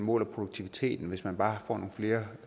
måler produktiviteten hvis man bare får nogle flere